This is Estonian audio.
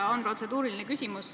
Mul on protseduuriline küsimus.